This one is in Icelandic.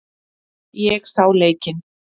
Ég sá leikinn.